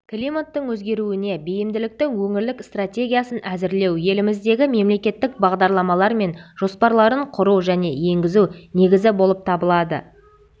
климаттың өзгеруіне бейімділіктің өңірлік стратегиясын әзірлеу еліміздегі мемлекеттік бағдарламалар мен жоспарларын құру және енгізу негізі болып табылады